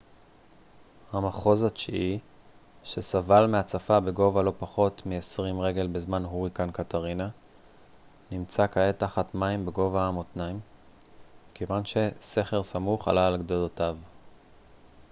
המחוז התשיעי שסבל מהצפה בגובה לא פחות מ-20 רגל בזמן הוריקן קטרינה נמצא כעת תחת מים בגובה המותניים מכיוון שסכר סמוך עלה על גדותיו